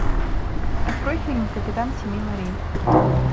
открой фильм капитан семи морей